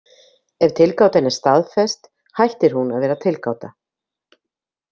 Ef tilgáta er staðfest hættir hún að vera tilgáta.